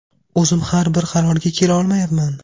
O‘zim ham bir qarorga kela olmayapman.